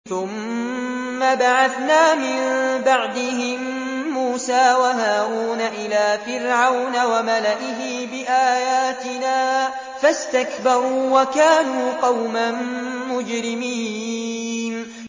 ثُمَّ بَعَثْنَا مِن بَعْدِهِم مُّوسَىٰ وَهَارُونَ إِلَىٰ فِرْعَوْنَ وَمَلَئِهِ بِآيَاتِنَا فَاسْتَكْبَرُوا وَكَانُوا قَوْمًا مُّجْرِمِينَ